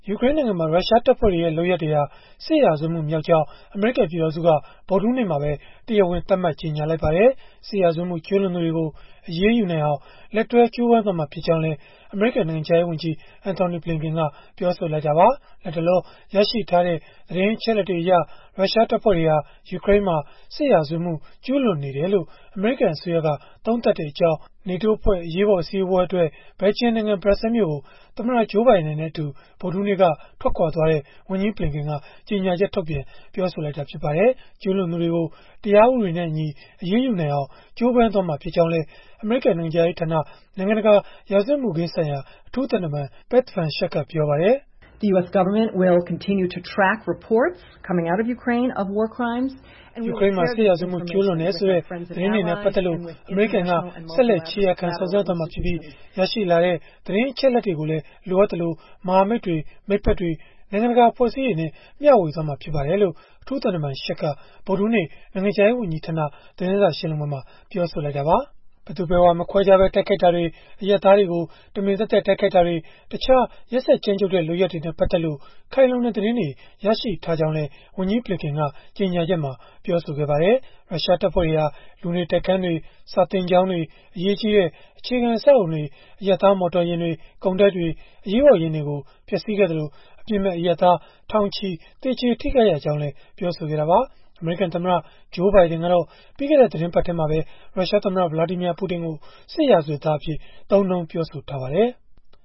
ယူကရိန်းနိုင်ငံမှာ ရုရှားတပ်ဖွဲ့တွေရဲ့ လုပ်ရပ်တွေဟာ စစ်ရာဇဝတ်မှု မြောက်ကြောင်း အမေရိကန်ပြည်ထောင်စုက ဗုဒ္ဓဟူးနေ့မှာပဲ တရားဝင် သတ်မှတ်ကြေညာလိုက်ပါတယ်။ စစ်ရာဇဝတ်မှု ကျုးလွန်သူတွေကို အရေးယူနိုင်အောင် လက်တွဲကြိုးပမ်းသွားမှာ ဖြစ်ကြောင်းလည်း အမေရိကန် နိုင်ငံခြားရေးဝန်ကြီး Antony Blinken ကပြောဆိုခဲ့တာပါ။ လတ်တလော ရရှိထားတဲ့ သတင်းအချက်အလက်တွေအရ ရုရှားတပ်ဖွဲ့တွေဟာ ယူကရိန်းမှာ စစ်ရာဇဝတ်မှု ကျုးလွန်နေတယ်လို့ အမေရိကန်အစိုးရက သုံးသပ်ကြောင်း NATO အဖွဲ့ အရေးပေါ် အစည်းအဝေးအတွက် ဘယ်လ်ဂျီယံနိုင်ငံ ဘရပ်ဆဲလ်မြို့ကို သမ္မတ Joe Biden နဲ့အတူ ဗုဒ္ဓဟူးနေ့က ထွက်ခွာသွားတဲ့ ဝန်ကြီးဘလင်ကန်က ကြေညာချက် ထုတ်ပြန်ပြောဆိုလိုက်တာ ဖြစ်ပါတယ်။ ကျုးလွန်သူတွေကို တရားဥပဒေနဲ့အညီ အရေးယူနိုင်အောင် ကြိုးပမ်းသွားမှာ ဖြစ်ကြောင်းလည်း အမေရိကန် နိုင်ငံခြားရေးဌာန နိုင်ငံတကာ ရာဇဝတ်မှုခင်းဆိုင်ရာ အထူးသံတမန် Beth Van Schaack ကပြောပါတယ်။ “ယူကရိန်းမှာ စစ်ရာဇဝတ်မှု ကျုးလွန်တယ်ဆိုတဲ့ သတင်းတွေနဲ့ ပတ်သက်လို့ အမေရိကန်က ဆက်လက် ခြေရာခံစုံစမ်းသွားမှာဖြစ်ပြီး ရရှိလာတဲ့ သတင်းအချက်အလက်တွေကိုလည်း လိုအပ်သလို မဟာမိတ်တွေ၊ မိတ်ဖက်တွေ၊ နိုင်ငံတကာ အဖွဲ့အစည်းတွေနဲ့ မျှဝေသွားမှာ ဖြစ်ပါတယ်။” လို့ အထူးသံတမန် Schaack က ဗုဒ္ဓဟူးနေ့ နိုင်ငံခြားရေးဝန်ကြီးဌာန သတင်းစာရှင်းလင်းပွဲမှာ ပြောဆိုလိုက်တာပါ။ ဘယ်သူဘယ်ဝါ မခွဲခြားပဲ တိုက်ခိုက်တာတွေ၊ အရပ်သားတွေကို တမင်သက်သက် တိုက်ခိုက်တာတွေ၊ တခြား ရက်စက်ကြမ်းကြုတ်တဲ့ လုပ်ရပ်တွေနဲ့ ပတ်သက်လို့ ခိုင်လုံတဲ့သတင်းတွေ ရရှိထားကြောင်းလည်း ဝန်ကြီးဘလင်ကန်က ကြေညာချက်မှာ ပြောဆိုထားပါတယ်။ ရုရှားတပ်ဖွဲ့တွေဟာ လူနေတိုက်ခန်းတွေ၊ စာသင်ကျောင်းတွေ၊ အရေးကြီးတဲ့ အခြေခံအဆောက်အအုံတွေ၊ အရပ်သား မော်တော်ယာဉ်တွေ၊ ကုန်တိုက်တွေ၊ အရေးပေါ်ယာဉ်တွေကို ဖျက်ဆီးခဲ့သလို၊ အပြစ်မဲ့အရပ်သား ထောင်ချီ သေကျေထိခိုက်ရကြောင်းလည်း ပြောဆိုခဲ့တာပါ။ အမေရိကန်သမ္မတ Joe Biden ကတော့ ပြီးခဲ့တဲ့ သီတင်းပတ်ထဲမှာပဲ ရုရှားသမ္မတ Vladimir Putin ကို စစ်ရာဇဝတ်သားအဖြစ် သုံးနှုန်းပြောဆိုထားပါတယ်။